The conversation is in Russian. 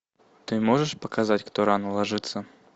ты можешь показать кто рано ложится